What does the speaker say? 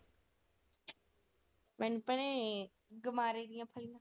ਮੈਨੂੰ ਭੈਣੇ, ਗੁਮਾਰੇ .